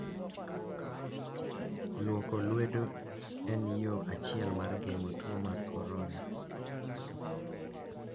Luoko lwedo en yo achiel mar geng'o tuo mar corona.